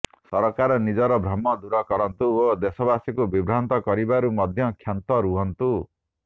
ସରକାର ନିଜର ଭ୍ରମ ଦୂର କରନ୍ତୁ ଓ ଦେଶବାସୀଙ୍କୁ ବିଭ୍ରାନ୍ତ କରିବାରୁ ମଧ୍ୟ କ୍ଷାନ୍ତ ହୁଅନ୍ତୁ